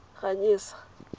ganyesa